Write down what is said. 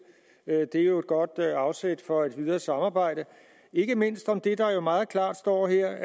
det er jo godt afsæt for et videre samarbejde og ikke mindst om det der jo meget klart står her